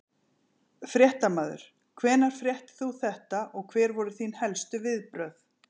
Fréttamaður: Hvenær fréttir þú þetta og hver voru þín helstu viðbrögð?